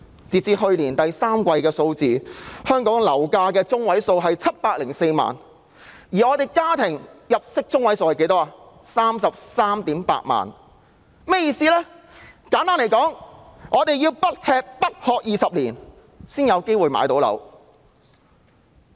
截至去年第三季，香港樓價中位數為704萬元，而本地家庭入息中位數則為 338,000 元，這是甚麼意思呢？